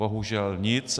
Bohužel nic.